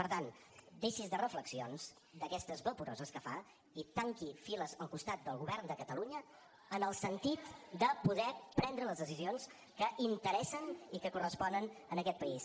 per tant deixi’s de reflexions d’aquestes vaporoses que fa i tanqui files al costat del govern de catalunya en el sentit de poder prendre les decisions que interessen i que corresponen a aquest país